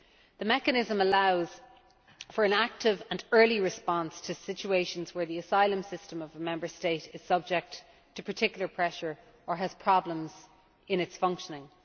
The mechanism allows for an active and early response to situations where the asylum system of a Member State is subject to particular pressure or has problems in its functioning.